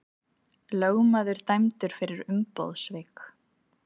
Lögmaður dæmdur fyrir umboðssvik